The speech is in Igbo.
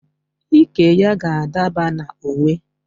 Iké ya ga-adaba na uwe